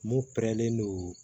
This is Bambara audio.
Mun pɛrɛnlen don